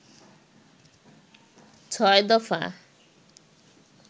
৬ দফা